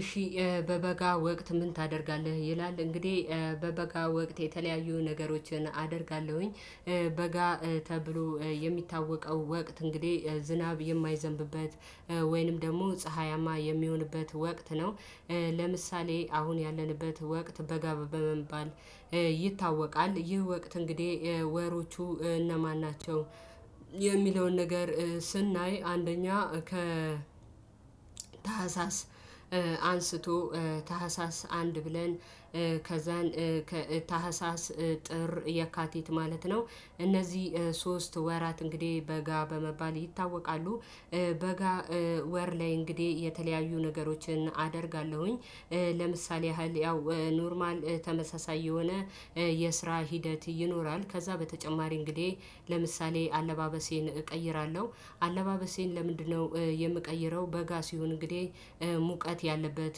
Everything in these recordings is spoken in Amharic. እሺ በበጋ ወቅት ምን ታደርጋለህ? ይላል እንግዲህ በበጋ ወቅት የተለያዩ ነገሮችን አደርጋለሁኝ። በጋ ተብሎ የሚታወቀው ወቅት እንግዲህ ዝናብ የማይዘንብበት ወይንም ደግሞ ፀሀያማ የሚሆንበት ወቅት ነው። ለምሳሌ አሁን ያለንበት ወቅት በጋ በመባል ይታወቃል። ይህ ወቅት እንግዲህ ወሮቹ እነማን ናቸው? የሚለውን ነገር ስናይ አንደኛ ከታህሳስ አንስቶ ታህሳስ አንድ ብለን ከዛን ከታህሳስ ጥር የካቲት ማለት ነው እነዚህ ሶስት ወራት እንግዲህ በጋ በመባል ይታወቃሉ። በጋ ወር ላይ እንግዲህ የተለያዩ ነገሮችን አደርጋለሁኝ። ለምሳሌ ያህል ያው ኖርማል ተመሳሳይ የሆነ የስራ ሂደት ይኖራል። ከዛ በተጨማሪ እንግዲህ ለምሳሌ አለባበሴን እቀይራለሁ። አለባበሴን ለምንድነው የምቀይረው? በጋ ሲሆን እንግዲህ ሙቀት ያለበት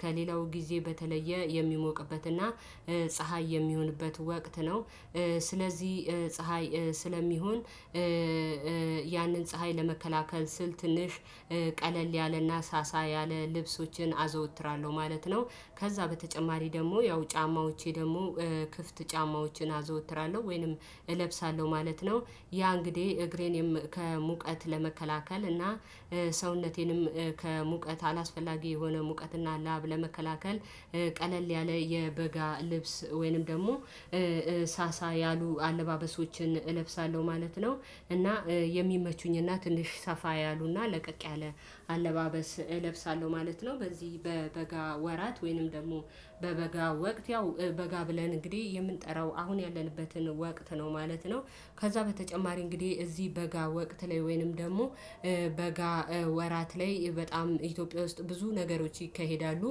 ከሌላው ጊዜ በተለየ የሚሞቅበትና ፀሀይ የሚሆንበት ወቅት ነው። ስለዚህ ፀሀይ ስለሚሆን ያንን ፀሀይ ለመከላከል ስል ትንሽ ቀለል ያለና ሳሳ ያለ ልብሶችን አዘወትራለሁ ማለት ነው። ከዛ በተጨማሪ ደግሞ ያው ጫማዎቼ ደግሞ ክፍት ጫማዎችን አዘወትራለሁ ወይንም እለብሳለሁ ማለት ነው። ያ እንግዲህ እግሬን ከሙቀት ለመከላከል እና ሰውነቴንም ከሙቀት አላስፈላጊ የሆነ ሙቀትና ላብ ለመከላከል ቀለል ያለ የበጋ ልብስ ወይንም ደግሞ ሳሳ ያሉ አለባበሶችን እለብሳለሁ ማለት ነው። እና የሚመቹኝ እና ትንሽ ሰፋ ያሉና ለቀቅ ያለ አለባበስ እለብሳለሁ ማለት ነው። በዚህ በበጋ ወራት ወይንም ደግሞ በበጋ ወቅት ያው በበጋ ብለን እንግዲህ የምንጠራው አሁን ያለንበትን ወቅት ነው ማለት ነው። ከዛ በተጨማሪ እንግዲህ እዚህ በጋ ወቅት ላይ ወይንም ደግሞ በጋ ወራት ላይ በጣም ኢትዮጵያ ውስጥ ብዙ ነገሮች ይካሄዳሉ።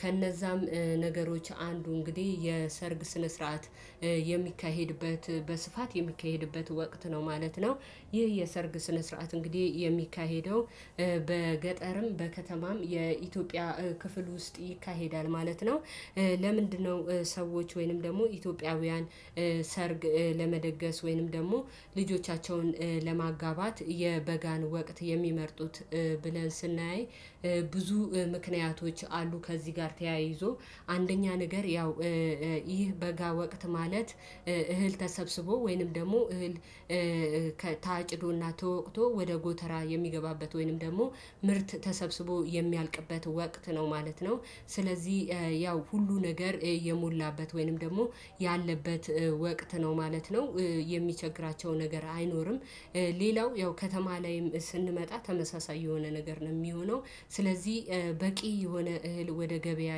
ከነዛም ነገሮች አንዱ እንግዲህ የሰርግ ስነ ስርዓት የሚካሄድበት በስፋት የሚካሄድበት ወቅት ነው ማለት ነው። ይህ የሰርግ ስነ ስርዓት እንግዲህ የሚካሄደው በገጠርም በከተማም የኢትዮጵያ ክፍል ውስጥ ይካሄዳል ማለት ነው። ለምንድነው ሰዎች ወይንም ደግሞ ኢትዮጵያውያን ሰርግ ለመደገስ ወይንም ደግሞ ልጆቻቸውን ለማጋባት የበጋን ወቅት የሚመርጡት። ብለን ስናያይ ብዙ ምክንያቶች አሉ። ከዚህ ጋር ተያይዞ አንደኛ ነገር ያው ይህ በጋ ወቅት ማለት እህል ተሰብስቦ ወይንም ደግሞ እህል ታጭዶና ተወቅቶ ወደ ጎተራ የሚገባበት ወይንም ደግሞ ምርት ተሰብስቦ የሚያልቅበት ወቅት ነው ማለት ነው። ስለዚህ ያው ሁሉ ነገር የሞላበት ወይንም ደግሞ ያለበት ወቅት ነው ማለት ነው። የሚቸግራቸው ነገር አይኖርም። ሌላው ያው ከተማ ላይም ስንመጣ ተመሳሳይ የሆነ ነገር ነው የሚሆነው። ስለዚህ በቂ የሆነ እህል ወደ ገበያ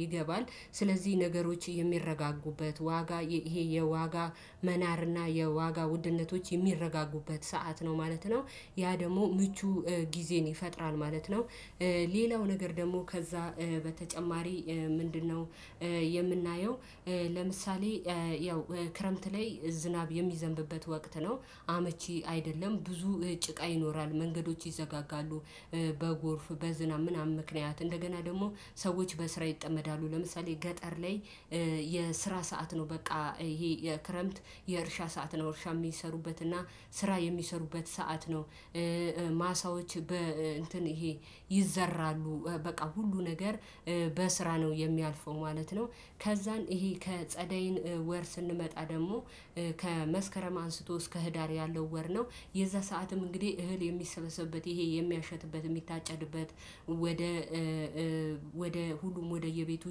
ይገባል። ስለዚህ ነገሮች የሚረጋጉበት ዋጋ ይሄ የዋጋ መናርና የዋጋ ውድነቶች የሚረጋጉበት ሰዓት ነው ማለት ነው። ያ ደግሞ ምቹ ጊዜን ይፈጥራል ማለት ነው። ሌላው ነገር ደግሞ ከዛ በተጨማሪ ምንድነው? የምናየው ለምሳሌ ያው ክረምት ላይ ዝናብ የሚዘንብበት ወቅት ነው። አመቺ አይደለም ብዙ ጭቃ ይኖራል መንገዶች ይዘጋጋሉ። በጎርፍ በዝናብ ምናምን ምክንያት እንደገና ደግሞ ሰዎች በስራ ይጠመዳሉ ለምሳሌ ገጠር ላይ። የስራ ሰዓት ነው በቃ ይሄ የክረምት የእርሻ ሰዓት ነው እርሻ የሚሰሩበት እና ስራ የሚሰሩበት ሰዓት ነው። ማሳዎች በ እንትን ይሄ ይዘራሉ በቃ ሁሉ ነገር በስራ ነው የሚያልፈው ማለት ነው። ከዛን ይሄ ከጸደይን ወር ስንመጣ ደግሞ ከመስከረም አንስቶ እስከ ህዳር ያለው ወር ነው። የዛ ሰዓትም እንግዲህ እህል የሚሰበሰብበት ይሄ የሚያሸትበት የሚታጨድበት ወደ ወደ ሁሉም ወደየቤቱ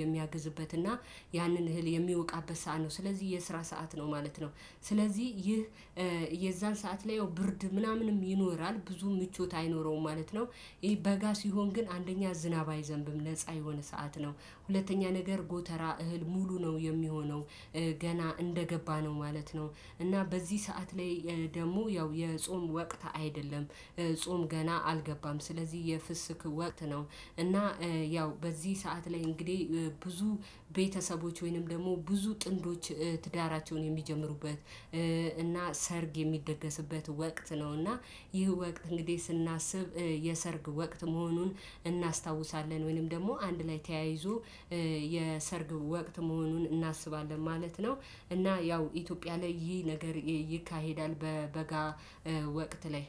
የሚያግዝበትና ያንን እህል የሚያውቃበት ሰዓት ነው ስለዚህ የስራ ሰዓት ነው ማለት ነው። ስለዚህ ይህ የዛን ሰዓት ላይ ያው ብርድ ምናምንም ይኖራል ብዙ ምቾት አይኖረውም ማለት ነው። ይሄ በጋ ሲሆን ግን አንደኛ ዝናብ አይዘንብም ነፃ የሆነ ሰዓት ነው። ሁለተኛ ነገር ጎተራ እህል ሙሉ ነው የሚሆነው። ገና እንደገባ ነው ማለት ነው። እና በዚህ ሰዓት ላይ ደግሞ ያው የጾም ወቅት አይደለም። ጾም ገና አልገባም ስለዚህ የፍስክ ወቅት ነው። እና ያው በዚህ ሰዓት ላይ እንግዲህ ብዙ ቤተሰቦች ወይንም ደግሞ ብዙ ጥንዶች ትዳራቸውን የሚጀምሩበት እና ሰርግ የሚደገስበት ወቅት ነው። እና ይህ ወቅት እንግዲህ ስናስብ የሰርግ ወቅት መሆኑን እናስታውሳለን ወይንም ደግሞ አንድ ላይ ተያይዞ የሰርግ ወቅት መሆኑን እናስባለን ማለት ነው። እና ያው ኢትዮጵያ ላይ ይህ ነገር ይካሄዳል በበጋ ወቅት ላይ።